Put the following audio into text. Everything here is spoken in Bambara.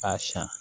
K'a siyan